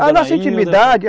A nossa intimidade.